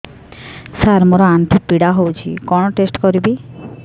ସାର ମୋର ଆଣ୍ଠୁ ପୀଡା ହଉଚି କଣ ଟେଷ୍ଟ କରିବି